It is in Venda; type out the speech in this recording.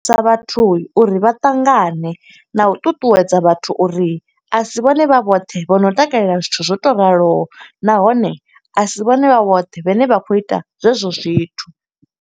Sa vhathu uri vha ṱangane, na u ṱuṱuwedza vhathu uri a si vhone vha vhoṱhe vhono takalela zwithu zwo to raliho. Nahone, a si vhone vha vhoṱhe vhane vha khou ita zwe zwo zwithu.